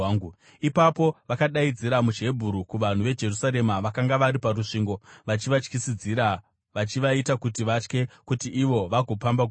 Ipapo vakadaidzira muchiHebheru kuvanhu veJerusarema vakanga vari parusvingo, vachivatyisidzira vachivaita kuti vatye kuti ivo vagopamba guta.